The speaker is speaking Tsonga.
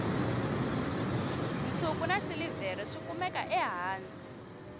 nsuku na silivhere swi kumeka ehansi